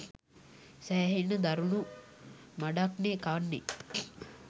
සැහෙන්න දරුණු මඩක්නේ කන්නේ